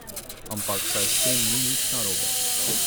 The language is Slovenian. Ampak saj s tem ni nič narobe.